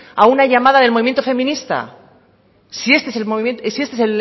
a una llamada del movimiento feminista si este es